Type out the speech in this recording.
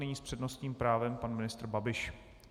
Nyní s přednostním právem pan ministr Babiš.